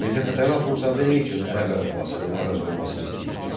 Mirzə Fətəli Axundzadə nə üçün ərəb əlifbasının əvəz olunmasını istəyirdi?